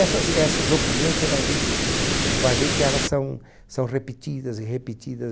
Essas, essas opiniões, você vai ver de vai ver que elas são são repetidas e